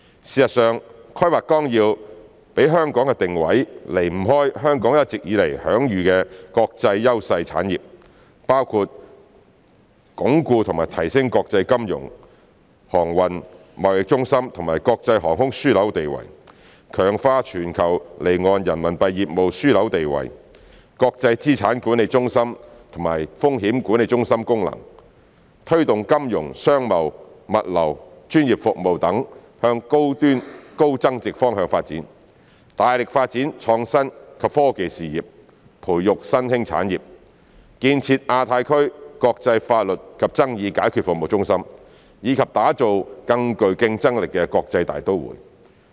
事實上，《規劃綱要》給香港的定位，離不開香港一直以來享譽國際的優勢產業，包括鞏固和提升國際金融、航運、貿易中心和國際航空樞紐地位；強化全球離岸人民幣業務樞紐地位、國際資產管理中心及風險管理中心功能；推動金融、商貿、物流、專業服務等向高端高增值方向發展；大力發展創新及科技事業，培育新興產業；建設亞太區國際法律及爭議解決服務中心；以及打造更具競爭力的國際大都會。